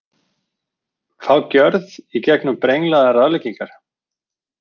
Fá gjörð í gegnum brenglaðar ráðleggingar